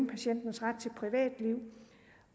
patientens ret til privatliv